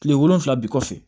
Kile wolonfila bi kɔfɛ